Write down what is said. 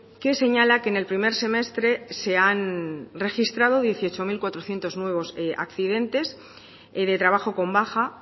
que señala que en el primer semestre se han registrado dieciocho mil cuatrocientos nuevos accidentes de trabajo con baja